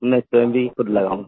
मैं स्वयं भी ख़ुद लगाऊंगा